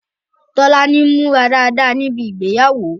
Tolani múra dáadáa níbi ìgbéyàwó